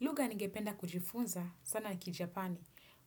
Lugha ningependa kujifunza sana kijapani.